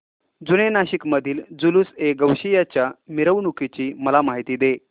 जुने नाशिक मधील जुलूसएगौसिया च्या मिरवणूकीची मला माहिती दे